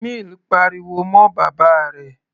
Mill pariwo mọ́ bàbá rẹ̀.